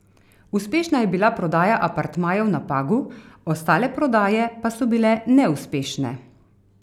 Uspešna je bila prodaja apartmajev na Pagu, ostale prodaje pa so bile neuspešne.